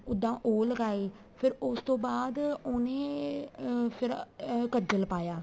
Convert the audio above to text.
ਉੱਦਾਂ ਉਹ ਲਗਾਈ ਫ਼ੇਰ ਉਸ ਤੋਂ ਬਾਅਦ ਉਹਨੇ ਅਹ ਕੱਜਲ ਪਾਇਆ